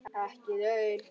Ekki laun.